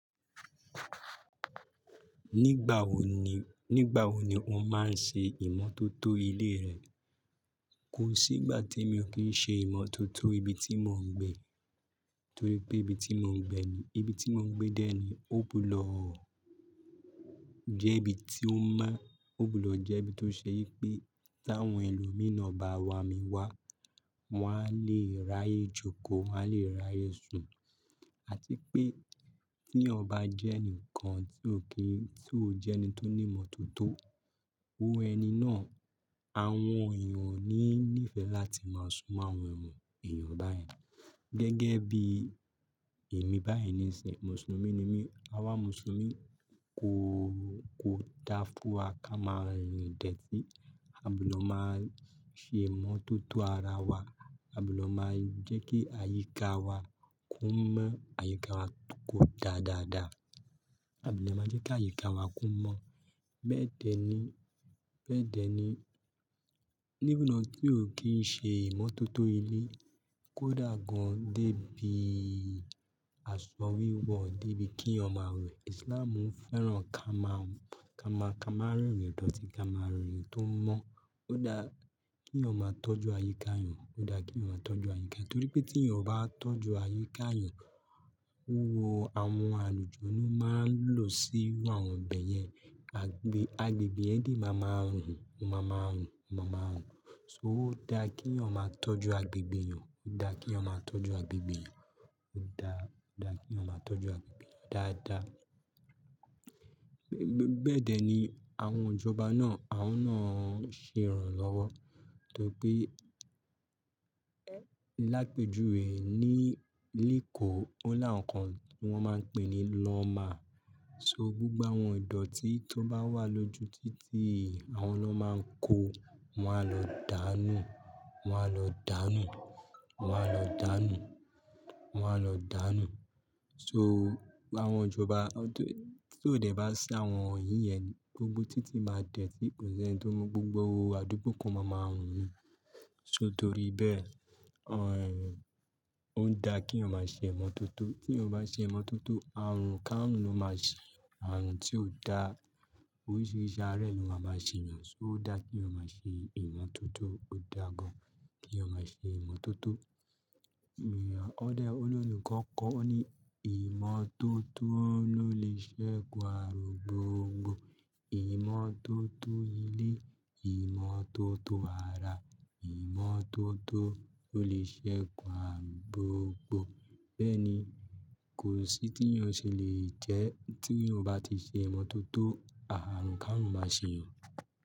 Nígbà wo ni, nígbà wo ni ọ́ máa ń ṣe ìmọ́tótó ilé rẹ? Kò sí ìgbà tí mi ò kí ń ṣe ìmọ́tótó ibi tí mò ń gbé. Torí pé ibi tí mò ń gbé ni, ibi tí mò ń gbé dé ní, ògbudo jẹ́ ibi tí ó mọ́, ògbudo ọ̀ jẹ́ ibi tó ṣe í pé tàwọn ẹlòmí naa bá wà á mi wá, wọ́n á lè ráyè jókòó, wọ́n á lè ráyè sùn. Àti pé tí yan bá jẹ́ ẹnìkan tí ò kí ń, tí ò jẹ́ ẹni tó ní mọ́tótó, iru ẹni náà, àwọn èèyàn ò ní ní ìfẹ́ láti máa sùn mọ́ àwọn èèyàn báyẹn. Gẹ́gẹ́ bí èmi báyii ni sin, Mùsùlùmí ni mí. Awa Mùsùlùmí kò, kò dá fún wa ká máa ń rin rin ideti. Àgbudo máa ṣe ìmọ́tótó ara wa. Agbudo máa jẹ́ kí àyíká wa ko mọ́, àyíká wa kó dáadáa. Àgbudo máa ń jẹ́ kí àyíká wa ko mọ́. Bẹ́ẹ̀ dẹ̀ ni, bẹ́ẹ̀ dẹ̀ ni, ní bu náà tí ò kí ń ṣe ìmọ́tótó ilé, kò dà gan dé bí àsọ wíwọ̀, dé bí kí yan maa wẹ̀. Islamú ń fẹ́ràn ká máa, ká máa, ká máa rìn rin lọ́tí, ká máa rìn rin tó mọ́. Ó dá kí yan maa tọ́jú àyíká yan. Ó dá kí yan maa tọ́jú àyíká. Torí pé tí yan o bá tọ́jú àyíká yan, owó àwọn àlùjọni máa ń lò sí iru àwọn bẹ̀yẹn. Agbe, agbègbè yen de máa ma run, o máa ma hun, máa ma hun. So ó dá kí yan maa tọ́jú agbègbè ẹeyan. Ó dá kí yan maa tọ́jú agbègbè ẹeyan. Ó dá, ó dá kí yan maa tọ́jú agbègbè eeyan dáadáa. Bẹ́ẹ̀ dẹ̀ ni àwọn ìjọba náà, àwọn náà ń ṣe ìrànlọ́wọ́. Torí pé lápẹ́júwè ní, leko ó là won kan tí wọ́n máa ń pè ní lawma. So gbogbo àwọn ìdọ̀tí tó bá wà lójú títì àwọn lọ́ máa ń kó, wọ́n á lọ dànù. Wọn á lọ dànù. Wọn á lọ dànù. Wọn á lọ dànù. So àwọn ìjọba tó, ti o dẹ̀ bá ṣi àwọn iyín yẹn ni gbógbó títí máa dẹ̀tí kò sí ẹni tó mọ gbogbo owó àdúgbò eko máa ma run ni. So torí bẹ́ẹ̀, òhn, ó dá kí yan maa ṣe ìmọ́tótó. Tí yan o bá ṣe ìmọ́tótó, ààrùn káàrún ni ló máa ṣe yan. Ààrùn tí ò dá oríṣiríṣi arẹ̀ lo maa ma ṣe yàn. So ó dá kí yan maa ṣe ìmọ́tótó. Ó dà gan kí yan ma ṣe ìmọ́tótó. Koda, ólorin kan kọ́ ọ́ ní ìmọ́tótó ló lè ṣẹ́gun àrùn gbògbò. Ìmọ́tótó ilé, ìmọ́tótó ara, ìmọ́tótó ló lè ṣẹ́gun àrùn gbògbò. Bẹ́ẹ̀ ni, kò sí tí yan ò ṣe lè jẹ́ tí yan o bá ti ṣe ìmọ́tótó, ààrùn káàrú máa ṣe yàn.